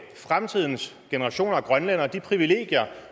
fremtidens generationer af grønlændere de privilegier